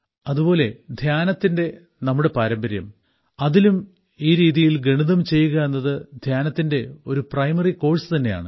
അതുപോലെ ധ്യാനത്തിന്റെ നമ്മുടെ പാരമ്പര്യം അതിലും ഈ രീതിയിൽ ഗണിതം ചെയ്യുക എന്നത് ധ്യാനത്തിന്റെ ഒരു പ്രൈമറി കോഴ്സ് തന്നെയാണ്